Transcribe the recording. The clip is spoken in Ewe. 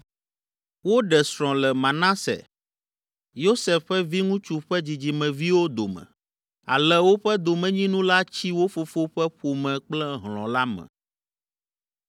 Woɖe srɔ̃ le Manase, Yosef ƒe viŋutsu ƒe dzidzimeviwo dome, ale woƒe domenyinu la tsi wo fofo ƒe ƒome kple hlɔ̃ la me.